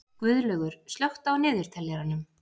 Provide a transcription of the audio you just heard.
Guðlaugur, slökktu á niðurteljaranum.